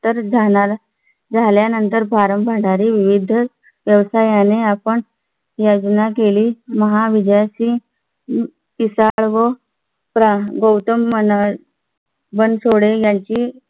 तर जाणार झाल्यानंतर भंडारी विविध व्यवसायाने आपण योजना केली महा विद्यार्थी किसान व गौतम मन बनसोडे यांची